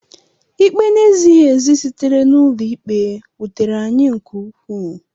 Ikpe na-ezighị ezi sitere n’ụlọikpe wutere anyị nke ukwuu.